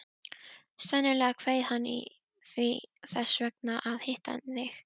Sennilega kveið hann því þess vegna að hitta þig.